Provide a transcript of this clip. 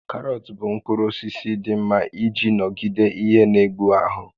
Karọt bụ mkpụrụ osisi dị mma iji nọgide ihe n'egbu ahụ